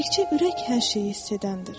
Təkcə ürək hər şeyi hiss edəndir.